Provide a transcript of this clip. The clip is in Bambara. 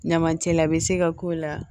Ɲamacɛla bɛ se ka k'o la